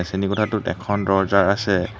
শ্ৰেণী কোঠাটোত এখন দৰ্জা আছে।